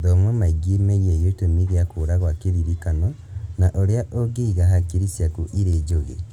Thoma maingĩ megiĩ gĩtũmi gĩa kũra gwa kĩririkano na ũrĩa ũngĩiga hakiri ciaku irĩ njũgĩ